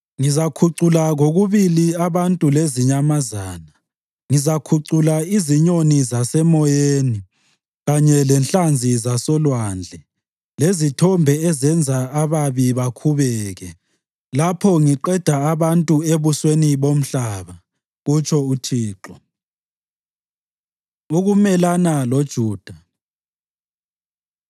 “Ngizakhucula kokubili abantu lezinyamazana; ngizakhucula izinyoni zasemoyeni kanye lenhlanzi zasolwandle, lezithombe ezenza ababi bakhubeke. Lapho ngiqeda abantu ebusweni bomhlaba,” kutsho uThixo. Ukumelana LoJuda